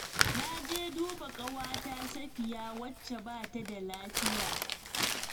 Na je duba ƙawata Safiya wacce ba ta da lafiya